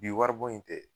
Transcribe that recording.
Bi wari bon in tɛ